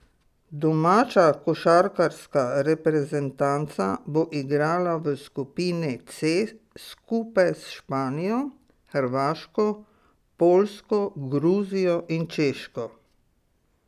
Domača košarkarska reprezentanca bo igrala v skupini C skupaj s Španijo, Hrvaško, Poljsko, Gruzijo in Češko.